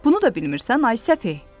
Bunu da bilmirsən, ay səfeh.